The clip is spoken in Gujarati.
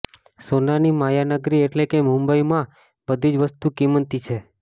સોનાની માયાનગરી એટલે કે મુંબઈમાં બધી જ વસ્તુ કિંમતી છે